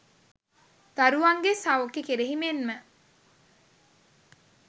දරුවන්ගේ සෞඛ්‍යය කෙරෙහි මෙන්ම